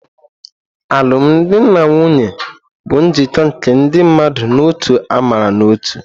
Alụmdi na nwunye bụ njikọ nke ndị mmadụ n'otu amara na ótū.